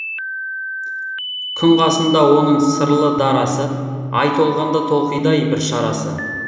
күн қасында оның сырлы дарасы ай толғанда толқиды ай бір шарасы